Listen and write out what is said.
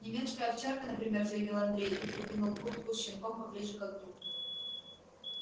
немецкая овчарка например заявил андрей и придвинул куртку с щенком поближе к огню